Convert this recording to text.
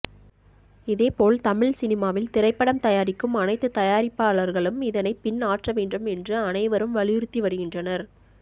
இதேபோல் தமிழ் சினிமாவில் திரைப்படம் தயாரிக்கும் அனைத்து தயாரிப்பாளர்களும் இதனை பின் ஆற்ற வேண்டும் என்று அனைவரும் வலியுறுத்தி வருகின்றனர்